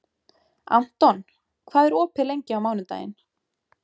Anton, hvað er opið lengi á mánudaginn?